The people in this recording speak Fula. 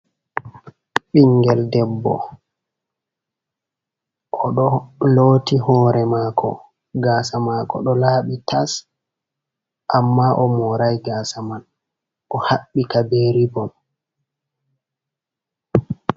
Ɓinngel debbo, oɗo looti hoore maako, gaasa maako ɗo laaɓi tas. Ammaa o moorai gaasa man, o haɓɓi ka bee ribon.